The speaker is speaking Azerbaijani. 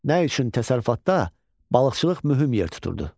Nə üçün təsərrüfatda balıqçılıq mühüm yer tuturdu?